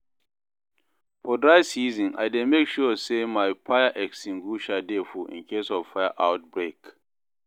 for dry season I dey mek sure say my fire extinguisher dey full incase of fire outbreak